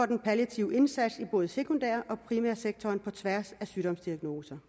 den palliative indsats i både sekundær og primærsektoren på tværs af sygdomsdiagnoser